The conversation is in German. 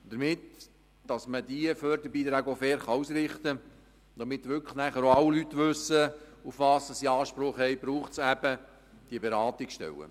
Damit man diese Förderbeiträge auch fair ausrichten kann und wirklich nachher auch alle Leute wissen, worauf sie Anspruch haben – dazu braucht es eben diese Beratungsstellen.